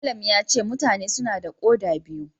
Malam yace mutane suna da koda biyu.